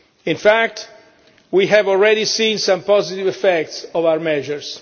In fact, we have already seen some positive effects of our measures.